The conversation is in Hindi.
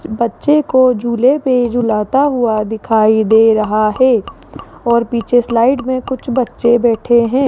बच्चे को झूले पे झूलता हुआ दिखाई दे रहा है और पीछे स्लाइड में कुछ बच्चे बैठे हैं।